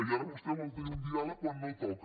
i ara vostè vol tenir un diàleg quan no toca